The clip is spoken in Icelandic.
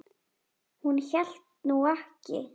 Hún hélt nú ekki.